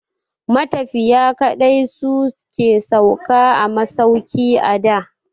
Matafiya kaɗai su ke sauka a masauki a da.